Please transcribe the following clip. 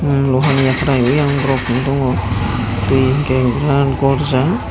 emm loha ni yakhwrai oyang borok tongo twi hwnkhe virat gorjak.